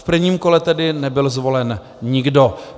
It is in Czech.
V prvním kole tedy nebyl zvolen nikdo.